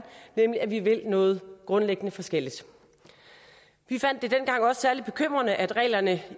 nemlig at vi vil noget grundlæggende forskelligt vi fandt det dengang også særlig bekymrende at reglerne